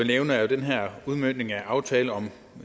nævne er den her udmøntning af aftalen om